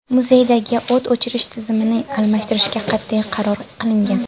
Muzeydagi o‘t o‘chirish tizimini almashtirishga qat’iy qaror qilingan.